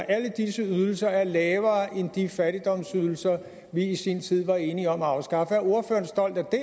alle disse ydelser er lavere end de fattigdomsydelser vi i sin tid var enige om at afskaffe er ordføreren stolt af det